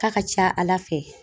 K'a ka ca ala fɛ.